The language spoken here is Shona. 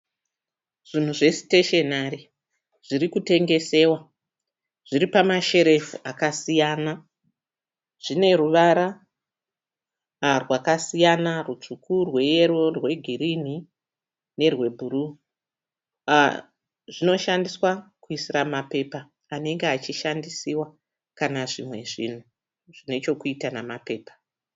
Zvinhu zve "stationary" zvirikutengesewa zviripama cherefu akasiyana. Zvineruvara rwakasiya rusvuku, rweyero, negirirni nerwe bhuru. Zvinoshandiswa kuisira mapepha anenge ashishandisiwa kana zvimwe zvinhu zvineshekuita nemapepha.